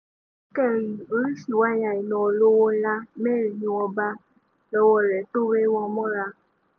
lọ́tẹ̀ yìí oríṣìí wáyà iná olówó ńlá mẹ́rin ni wọ́n bá lọ́wọ́ rẹ̀ tó wé wọn mọ́ra